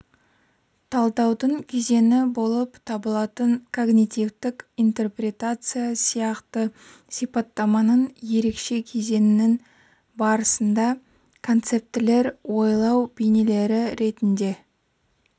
талдаудың кезеңі болып табылатын когнитивтік интерпретация сияқты сипаттаманың ерекше кезеңінің барысында концептілер ойлау бейнелері ретінде